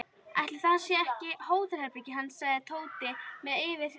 Ætli þetta sé ekki hótelherbergið hans sagði Tóti með fyrirlitningu.